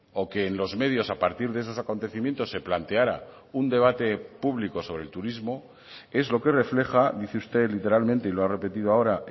o que en los medios a partir de esos acontecimientos se planteara un debate público sobre el turismo es lo que refleja dice usted literalmente y lo ha repetido ahora